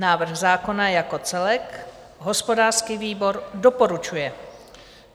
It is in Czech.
Návrh zákona jako celek - hospodářský výbor doporučuje.